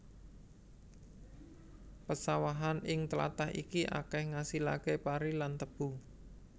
Pesawahan ing tlatah iki akeh ngasilake pari lan tebu